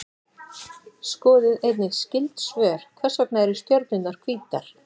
Skoðið einnig skyld svör: Hvers vegna eru stjörnurnar hvítar?